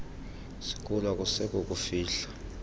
sikulo akusekho kufihla